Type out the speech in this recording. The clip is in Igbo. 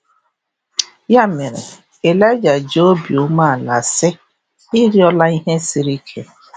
Ya mere, Ịlaịja ji obi umeala sị: “Ị rịọla ihe siri ike.